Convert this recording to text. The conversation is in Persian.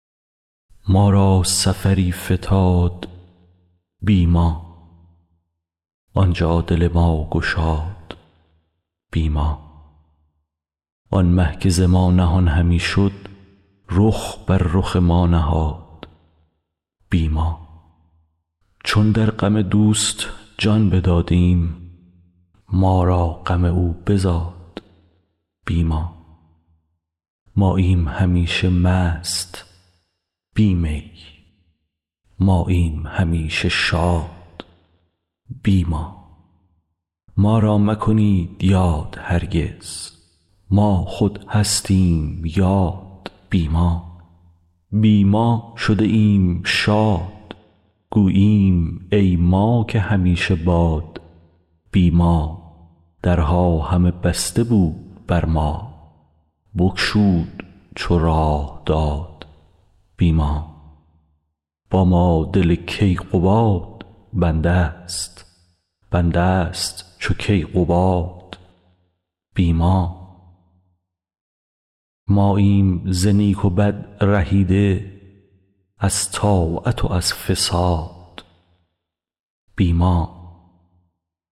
ما را سفری فتاد بی ما آن جا دل ما گشاد بی ما آن مه که ز ما نهان همی شد رخ بر رخ ما نهاد بی ما چون در غم دوست جان بدادیم ما را غم او بزاد بی ما ماییم همیشه مست بی می ماییم همیشه شاد بی ما ما را مکنید یاد هرگز ما خود هستیم یاد بی ما بی ما شده ایم شاد گوییم ای ما که همیشه باد بی ما درها همه بسته بود بر ما بگشود چو راه داد بی ما با ما دل کیقباد بنده ست بنده ست چو کیقباد بی ما ماییم ز نیک و بد رهیده از طاعت و از فساد بی ما